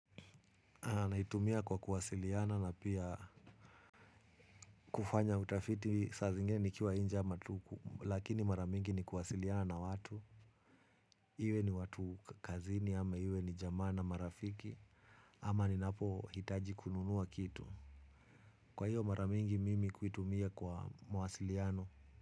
Naitumia kwa kuwasiliana na pia kufanya utafiti saa zingine nikiwa inje ama tu lakini mara mingi ni kuwasiliana na watu. Iwe ni watu kazini ama iwe ni jamaa na marafiki ama ninapohitaji kununua kitu. Kwa hiyo mara mingi mimi kuitumia kwa mawasiliano.